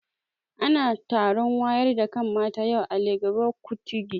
Ana taron wayar da kan mata yau a Legbo Kutigi